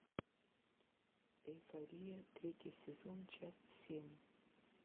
эйфория третий сезон часть семь